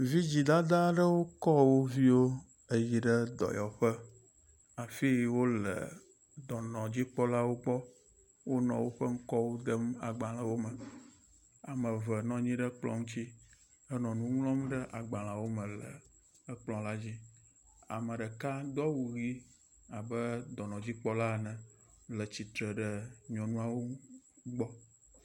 Vidzi dadda aɖewo kɔ wo viwo eyi ɖe dɔyɔƒe afi yi wo le dɔnɔdzikpɔlawo gbɔ wonɔ woƒe ŋkɔwo dem agbalewo me. Ame eve nɔ anyi ɖe kplɔ ŋuti henɔ nu ŋlɔm agbalewp me le ekplɔ la dzi. Ame ɖeka do awu ʋi abe dɔnɔdzikpɔla ene le tsitre ɖe nyɔnuawo gbɔ.